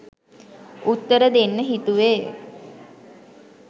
උත්තර දෙන්න හිතුවේ.